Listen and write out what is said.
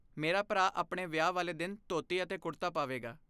ਮੇਰਾ ਭਰਾ ਆਪਣੇ ਵਿਆਹ ਵਾਲੇ ਦਿਨ ਧੋਤੀ ਅਤੇ ਕੁੜਤਾ ਪਾਵੇਗਾ।